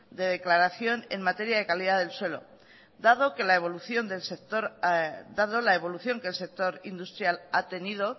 de declaración en materia de calidad del suelo dado la evolución que el sector industrial ha tenido